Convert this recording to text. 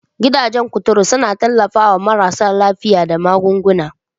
Gidajen kuturu suna tallafawa marasa lafiya da magunguna.